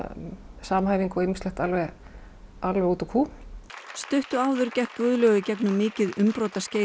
samhæfing og ýmislegt alveg alveg út úr kú stuttu áður gekk Guðlaug í gegnum mikil umbrot